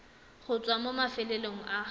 go tswa mo mafelong a